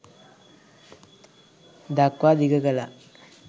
දක්වා දිග කලා